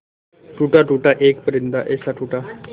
टूटा टूटा एक परिंदा ऐसे टूटा